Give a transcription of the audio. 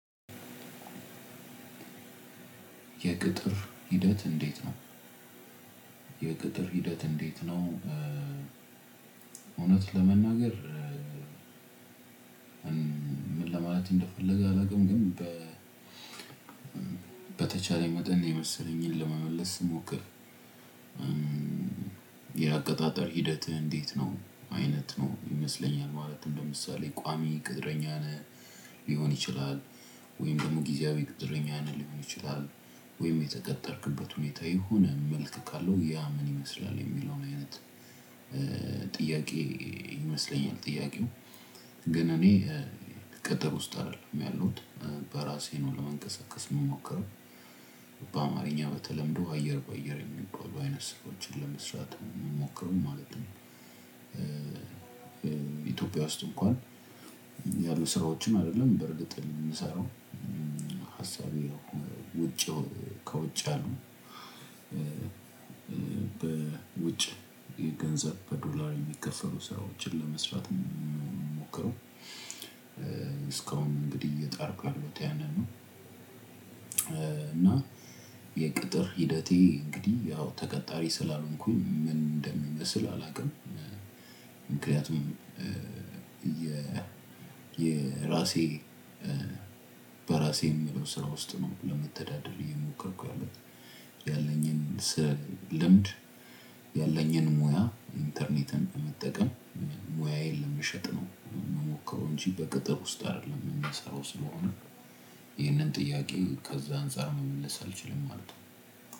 የቅጥር ሂደት እንዴት ነው? የቅጥር ሂደት እንዴት ነው እውነት ለመናገር። ምን ለማለት እንደፈለገ አላውቅም። ግን በ በተቻለኝ መጠን የመሰለኝን ለመመለስ ልሞክር። የአቀጣጠር ሂደት እንዴት ነው? አይነት ነው ይመስለኛል ማለት እንደምሳሌ ቋሚ ቅጥረኛ ነህ ሊሆን ይችላል ወይም ደግሞ ጊዚያዊ ቅጥረኛ ነህ ሊሆን ይችላል። ወይም የተቀጠርክበት ሁኔታ የሆነ መልክ ካለው ያ ምን ይመስላል የሚለውን አይነት? ጥያቄ ይመስለኛል። ጥያቄው ግን እኔ ቅጥር ውስጥ አይደለም ያለሁት። በራሴ ነው ለመንቀሳቀስ የምሞክረው። በአማርኛ በተለምዶ አየር በአየር የሚባሉ አይነት ስራዎችን ለመስራት እምሞክር ማለት ነው። ኢትዮጵያ ውስጥ እንኳን ያሉ ስራዎችን አደለም በርግጥ እኔ የምንሰራው ሀሳቤ ውጪ ከውጪ ያሉ በውጪ የገንዘብ በዶላር የሚከፈሉ ስራዎችን ለመስራት ምሞክረው። እስካሁን እንግዲህ እየጣርኩ ያለሁት ያንን ነው። የቅጥር ሂደቴ እንግዲህ ያው ተቀጣሪ ስላልሆንኩኝ ምን እንደሚመስል አላቅም። ምክንያቱም የ የራሴ በራሴ የሚለው ስራ ውስጥ ነው ለመተዳደር የሞከርኩት። ያለኝን ስለ ልምድ ያለኝን ሙያ ኢንተርኔትን በመጠቀም ሙያየን ለመሸጥ ነው። ምሞክረው እንጂ በቅጥር ውስጥ አይደለም የምንሰራው ስለሆነ። ይህንን ጥያቄ ከዛ አንፃር መመለስ አልችልም ማለት ነው።